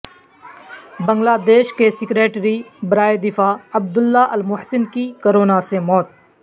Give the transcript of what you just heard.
بنگلہ دیش کے سکریٹری برائے دفاع عبداللہ المحسن کی کورونا سے موت